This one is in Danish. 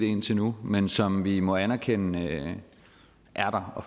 indtil nu men som vi må anerkende